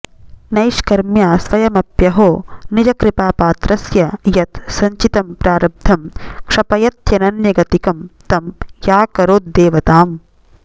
नैष्कर्म्या स्वयमप्यहो निजकृपापात्रस्य यत् संचितं प्रारब्धम् क्षपयत्यनन्यगतिकं तं याकरोद्देवताम्